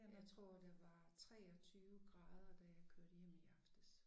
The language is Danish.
Jeg tror der var 23 grader da jeg kørte hjem i aftes